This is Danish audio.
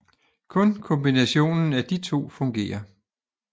Kun kombinationen af de to fungerer